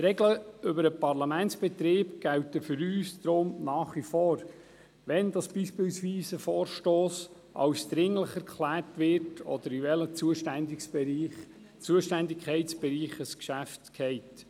Die Regeln für den Parlamentsbetrieb gelten für uns nach wie vor, wie etwa, wann ein Vorstoss für dringlich erklärt wird, oder in welchen Zuständigkeitsbereich ein Geschäft fällt.